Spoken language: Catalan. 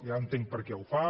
ja entenc perquè ho fa